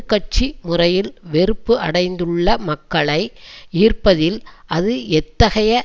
கட்சி முறையில் வெறுப்பு அடைந்துள்ள மக்களை ஈர்ப்பதில் அது எத்தகைய